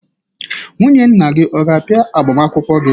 Nwunye nna gị ọ ga-abia agbamakwụkwọ gi?